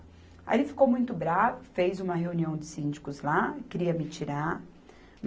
Aí ele ficou muito bravo, fez uma reunião de síndicos lá, queria me tirar.